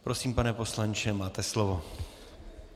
Prosím, pane poslanče, máte slovo.